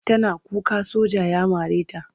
Tana kuka soja ya mare ta.